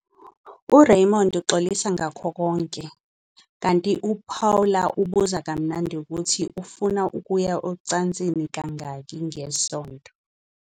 URaymond uxolisa ngakho konke, kanti uPaula ubuza kamnandi ukuthi ufuna ukuya ocansini kangaki ngesonto.